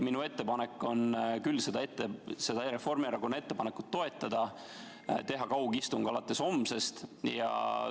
Minu ettepanek on küll seda Reformierakonna ettepanekut toetada ja teha kaugistung alates homsest.